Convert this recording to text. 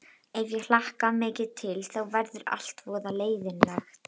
Ef ég hlakka mikið til þá verður allt voða leiðinlegt.